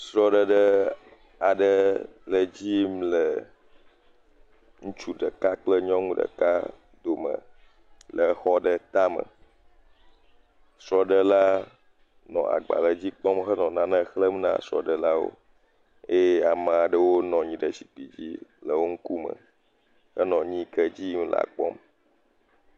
Srɔɖeɖe aɖe le edzi yim le ŋutsu ɖeka kple nyɔnu ɖeka dome, le exɔɖe tame, srɔɖe la nɔ agbalẽ dzi kpɔm he nɔ nane xlẽm na srɔ ɖe lawo eye amaɖewo wo nɔnyi ɖe zikpui dzi le wo ŋkume, he nɔ nuyi ke le dziyim la kpɔm.